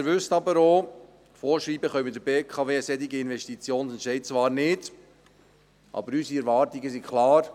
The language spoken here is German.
Sie wissen aber auch, dass wir der BKW solche Investitionen und Entscheide zwar nicht vorschreiben können, aber unsere Erwartungen sind klar.